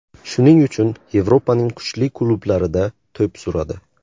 Shuning uchun Yevropaning kuchli klublarida to‘p suradi.